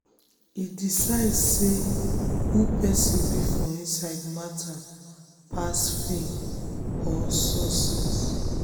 e decide say who person be for inside matter pass fame or success.